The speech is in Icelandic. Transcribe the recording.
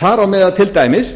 þar á meðal til dæmis